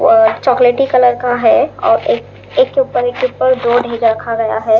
और चॉकलेटी कलर का है और एक के ऊपर एक के ऊपर रखा गया है।